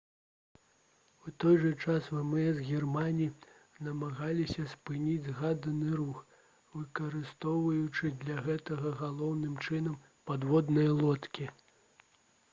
у той жа час вмс германіі намагаліся спыніць згаданы рух выкарыстоўваючы для гэтага галоўным чынам падводныя лодкі